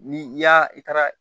Ni i y'a i taara